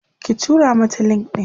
ki tura mata link ɗin!